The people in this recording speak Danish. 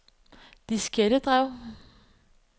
diskettedrev